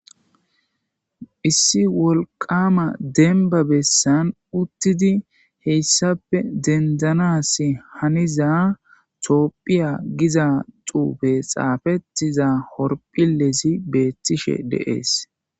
Issi wolqqama dembba bessan uttidii hessappe dendanas haniza tophphiya giza xuufe xaafettiza horphphilezii bettishe dees.